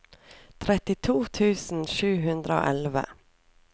trettito tusen sju hundre og elleve